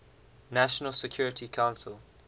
national security council